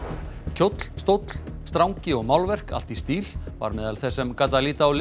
kjóll stóll strangi og málverk allt í stíl var meðal þess sem gat að líta á